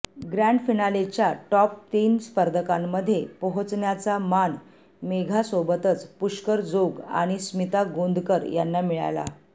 grand फिनालेच्या top तीन स्पर्धकांमध्ये पोहचण्याचा मान मेघासोबतच पुष्कर जोग आणि स्मिता गोंदकर यांना मिळाला